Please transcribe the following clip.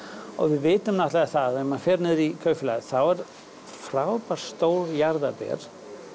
og við vitum náttúrulega það að ef maður fer niður í Kaupfélag eru frábær stór jarðaber